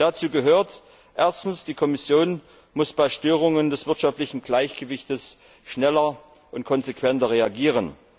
Dazu gehört Erstens, die Kommission muss bei Störungen des wirtschaftlichen Gleichgewichts schneller und konsequenter reagieren.